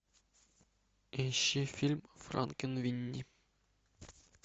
ищи фильм франкенвини